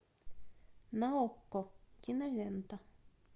на окко кинолента